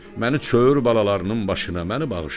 Məni çör balalarının başına məni bağışla,